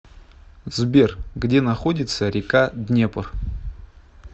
сбер где находится река днепр